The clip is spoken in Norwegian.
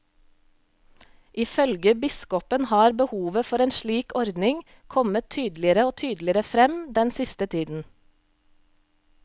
Ifølge biskopen har behovet for en slik ordning kommet tydeligere og tydeligere frem den siste tiden.